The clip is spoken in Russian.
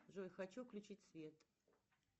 джой хочу включить свет